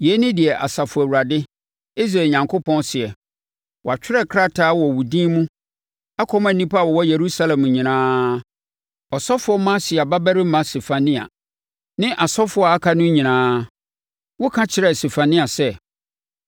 “Yei ne deɛ Asafo Awurade, Israel Onyankopɔn seɛ: Watwerɛ krataa wɔ wo din mu akɔma nnipa a wɔwɔ Yerusalem nyinaa, ɔsɔfoɔ Maaseia babarima Sefania, ne asɔfoɔ a aka no nyinaa. Woka kyerɛɛ Sefania sɛ,